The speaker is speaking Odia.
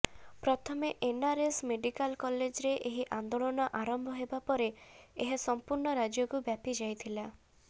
ପ୍ରଥମେ ଏନ୍ଆରଏସ୍ ମେଡିକାଲ କଲେଜ୍ରେ ଏହି ଆନ୍ଦୋଳନ ଆରମ୍ଭ ହେବା ପରେ ଏହା ସମ୍ପୂର୍ଣ୍ଣ ରାଜ୍ୟକୁ ବ୍ୟାପି ଯାଇଥିଲା